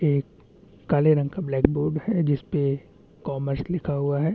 ए डा डम बाडा गारी बे इल्ली के टिकी गलो गोड़ाई बे ए कोटे लगाई तुम्बा।